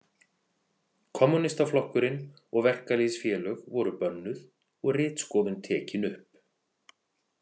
Kommúnistaflokkurinn og verkalýðsfélög voru bönnuð og ritskoðun tekin upp.